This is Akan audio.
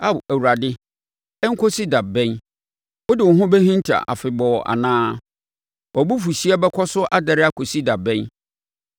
Ao Awurade, ɛnkɔsi da bɛn? Wode wo ho bɛhinta afebɔɔ anaa? Wʼabofuhyeɛ bɛkɔ so adɛre akɔsi da bɛn?